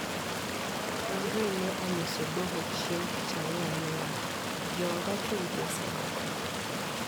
Wuon Roy ne onyiso doho chieng` tich Ang`wen niya:" Jooda chunygi osegore.